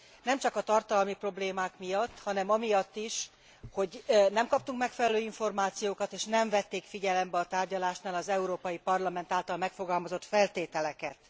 Nem csak a tartalmi problémák miatt, hanem amiatt is, hogy nem kaptunk megfelelő információkat és nem vették figyelembe a tárgyalásnál az Európai Parlament által megfogalmazott feltételeket.